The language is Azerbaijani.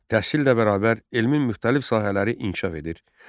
Təhsillə bərabər elmin müxtəlif sahələri inkişaf edir.